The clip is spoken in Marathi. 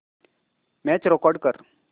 मॅच रेकॉर्ड कर